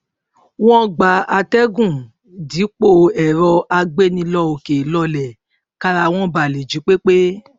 wọn gba àtẹgùn dípò ẹrọ àgbénilọkèlọlẹ kára wọn ba lè jí pé pé